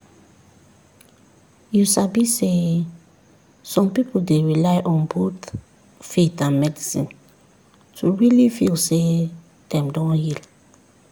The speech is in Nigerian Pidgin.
you sabi sey some people dey rely on both faith and medicine to really feel say dem don heal.